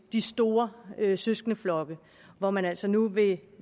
de store søskendeflokke hvor man altså nu vil